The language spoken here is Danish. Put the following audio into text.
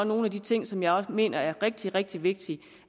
nogle af de ting som jeg mener er rigtig rigtig vigtige